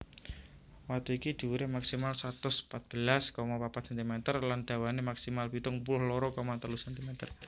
Watu iki dhuwuré maksimal satus pat belas koma papat centimeter lan dawané maksimal pitung puluh loro koma telu centimeter